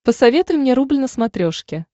посоветуй мне рубль на смотрешке